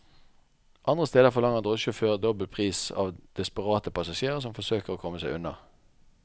Andre steder forlanger drosjesjåfører dobbel pris av desperate passasjerer som forsøker å komme seg unna.